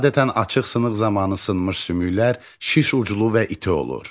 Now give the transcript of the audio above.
Adətən açıq sınıq zamanı sınmış sümüklər şiş uclu və iti olur.